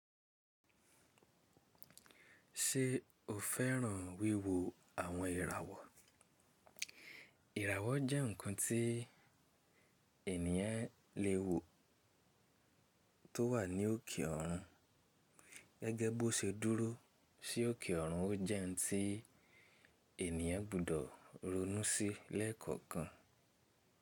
Ṣé o fẹ́ràn wíwo àwọn ìràwọ̀? Ìràwọ̀ jẹ́ ǹkan tí ènìyàn lè wò tó wà ní òkè ọ̀run. Gẹ́gẹ́ bó ṣe dúró sí òkè ọ̀run, ó jẹ́ ǹ tí ènìyàn gbọ́dọ̀ ronú sí lẹ́ẹ̀kọ̀kan.